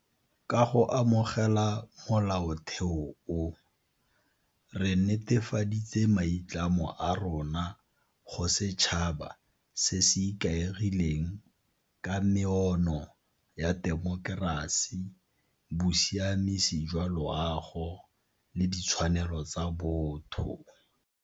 Ka go amogela Molaotheo o, re netefaditse maitlamo a rona go setšhaba se se ikaegileng ka meono ya temokerasi, bosiamisi jwa loago le ditshwanelo tsa botho.